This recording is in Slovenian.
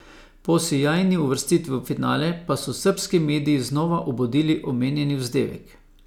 Po sijajni uvrstitvi v finale pa so srbski mediji znova obudili omenjeni vzdevek.